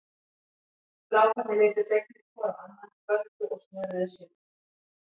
Strákarnir litu fegnir hvor á annan, kvöddu og snöruðu sér út.